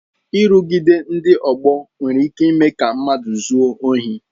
Nrụgide ndị ọgbọ nwere ike ịme ka mmadụ zuo ohi